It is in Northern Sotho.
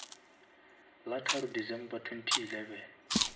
la tharo december twenty eleven